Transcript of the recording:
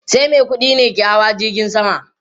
Sai mai kudi ne ke hawa jirgin sama